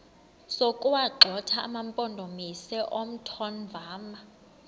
sokuwagxotha amampondomise omthonvama